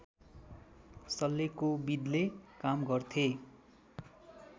शल्यकोविदले काम गर्थे